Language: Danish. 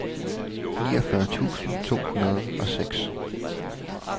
niogfyrre tusind to hundrede og seks